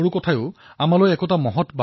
ই ১৮টা ভাষা কয় কিন্তু চিন্তা একেটাই